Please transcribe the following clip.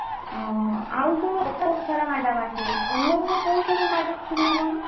ଓହୋ! ଆଉ ସବୁ ଏବେ ବହୁତ sir madam ଆସିଲେଣି ତମ ବେଳେ କୋଉ ସବୁ madam ଥିଲେ କହନି।